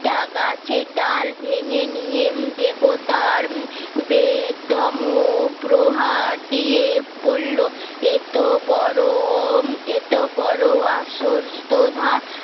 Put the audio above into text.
টাকা গাছের ডাল ভেঙে নিয়ে দেবতার দিয়ে দম প্রহার দিয়ে বললো এত বোরন এত বড় আসস্ত্র থাক